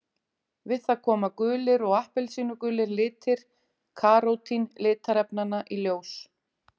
Við það koma gulir og appelsínugulir litir karótín litarefnanna í ljós.